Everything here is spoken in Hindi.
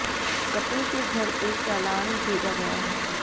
कपिल के घर एक चालान भेजा गया है